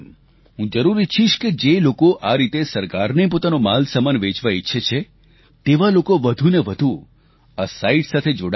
હું જરૂર ઇચ્છીશ કે જે લોકો આ રીતે સરકારને પોતાનો માલસામાન વેચવા ઇચ્છે છે તેવા લોકો વધુ ને વધુ આ સાઇટ સાથે જોડાય